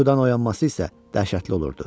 Yuxudan oyanması isə dəhşətli olurdu.